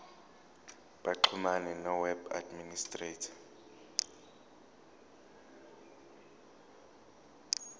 baxhumane noweb administrator